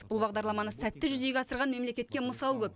бұл бағдарламаны сәтті жүзеге асырған мемлекетке мысал көп